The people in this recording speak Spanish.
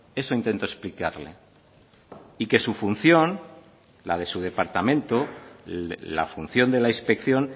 eso intentó explicarle y que su función la de su departamento la función de la inspección